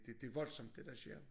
Det det voldsomt det der sker